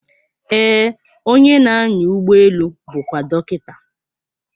Ee, onye na-anya ụgbọelu bụkwa dọkịta.